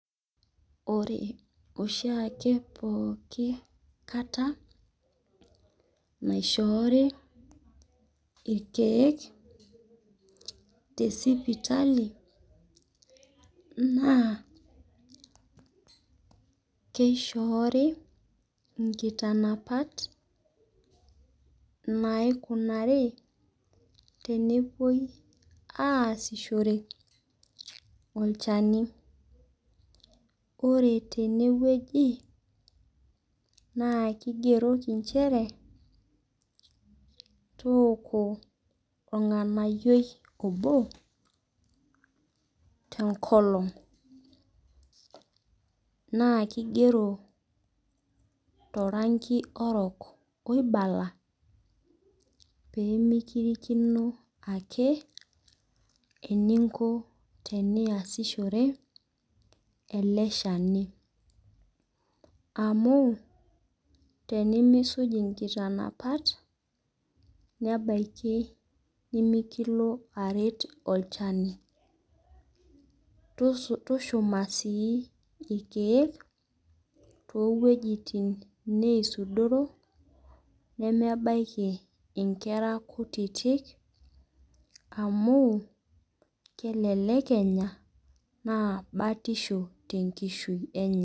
Ore oshiake pooki kata, naishoori irkeek tesipitali, naa keishoori inkitanapat, naikunari tenepoi aasishore olchani. Ore tenewueji, naa kigeroki nchere, tooko orng'anayioi obo, tenkolong. Naa kigero toranki orok oibala, pemikirikino ake, eninko teniasishore, ele shani. Amu, tenimisuj inkitanapat, nebaiki nimikilo aret olchani. Tushuma sii irkeek, towuejiting neisudoro, nemebaiki inkera kutitik, amu, kelelek enya, naa batisho tenkishui enye.